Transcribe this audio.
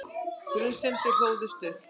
Grunsemdirnar hlóðust upp.